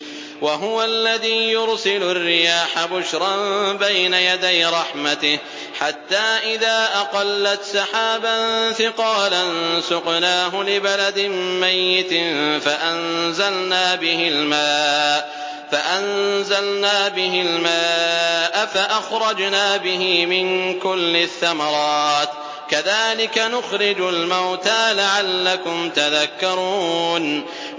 وَهُوَ الَّذِي يُرْسِلُ الرِّيَاحَ بُشْرًا بَيْنَ يَدَيْ رَحْمَتِهِ ۖ حَتَّىٰ إِذَا أَقَلَّتْ سَحَابًا ثِقَالًا سُقْنَاهُ لِبَلَدٍ مَّيِّتٍ فَأَنزَلْنَا بِهِ الْمَاءَ فَأَخْرَجْنَا بِهِ مِن كُلِّ الثَّمَرَاتِ ۚ كَذَٰلِكَ نُخْرِجُ الْمَوْتَىٰ لَعَلَّكُمْ تَذَكَّرُونَ